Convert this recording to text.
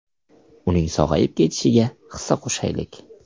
Uning sog‘ayib ketishiga hissa qo‘shaylik!